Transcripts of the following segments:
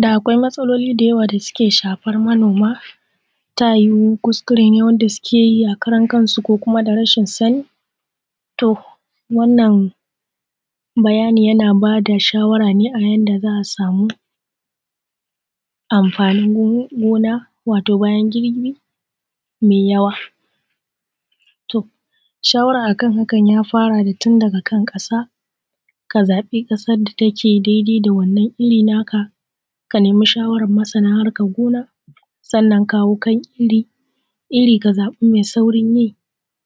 Da akwai matsaloli da yawa da suke shafan manoma ta yuwu kuskure ne wanda sukeyi na karan kansu ko kuma rashin sani? To wannan bayani yana bada shawara ne a yanda za'a samu amfanin gona wato bayan girbi mai yawa. To shawara akan hakan ya farane tun daga kan ƙasa, ka zabi kasan da take daidai da wannan irri naka ka nemi shawaran masana a harkan gona. Sannan kawo kan irri ka zabi mai saurin yi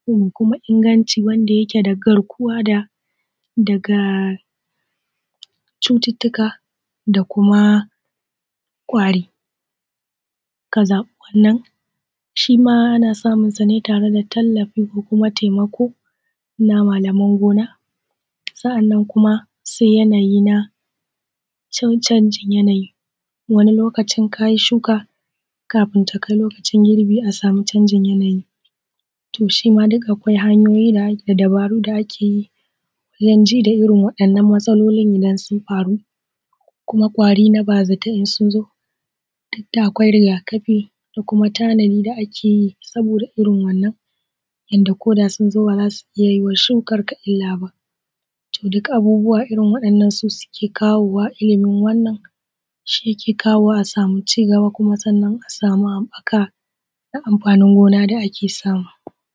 da kuma inganci wanda da garkuwan daga cututtuka da kuma kwari. Ka zaɓi wannan shima ana samun sane tare da tallafon da kuma taimakon na malaman gona. Sa'anan kuma sai yanayi na canjin yanayi wani lokacin kayi shuka kafin takai lokacin girbi a samu canjin yanayi, to shima akwai hanyoyi da dabaru da a kebi a danji da irrin waɗannan matsaloli idan sun faru. Ko kuma kwari na bazata sunzo dukda akwai riga kafi da kuma tanadi da a keyi saboda irrin wannan inda koda sunzo bazasu iyya ma shukanka illa ba. Duk abubuwa irrin wannan su suke kawowa illimin wannan ke kawo a sami cigaba Kuma za'a sami haɓɓaka na amfanin gona da ake samu.